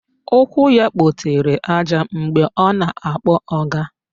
Ụkwụ ya kpotere àjà mgbe ọ na-akpọ ọga